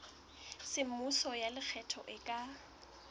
semmuso ya lekgetho e ka